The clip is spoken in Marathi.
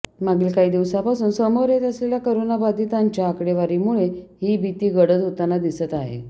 मागील काही दिवसांपासून समोर येत असलेल्या कोरोनाबाधितांच्या आकडेवारीमुळे ही भीती गडद होताना दिसत आहे